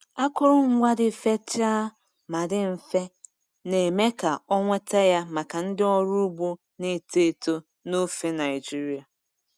Akụrụngwa dị fechaa ma dị mfe, na-eme ka ọ nweta ya maka ndị ọrụ ugbo na-eto eto n'ofe Nigeria.